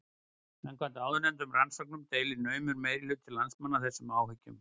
Samkvæmt áðurnefndum rannsóknum deilir naumur minnihluti landsmanna þessum áhyggjum.